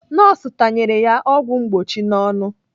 Nọọsụ tanyere ya ọgwụ mgbochi n'ọnụ.